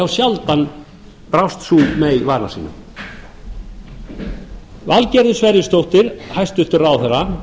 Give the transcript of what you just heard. sjaldan brá sú mey vana sínum valgerður sverrisdóttir hæstvirtur ráðherra